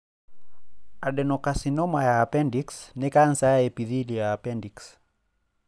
Adenocarcinoma ya appendix nĩ cancer ya epithelial ya appendix.